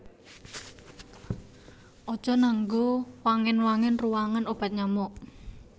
Aja nganggo wangen wangen ruwangan obat nyamuk